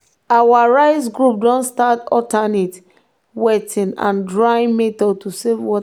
our rice group don start alternate wetting and drying method to save water.